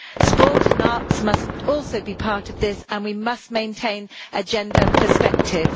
Sport and arts must also be part of this and we must maintain a gender perspective.